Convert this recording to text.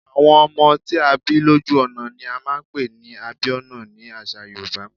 Àwọn ọmọ tí a bí lójú ọ̀nà ni a máa ń pè ní Abíọ́nà ni àṣà Yorùbá.